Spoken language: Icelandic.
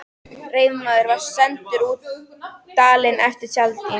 Reiðmaður var sendur út dalinn eftir tjaldi.